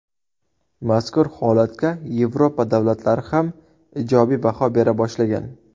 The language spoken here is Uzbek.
Mazkur holatga Yevropa davlatlari ham ijobiy baho bera boshlagan.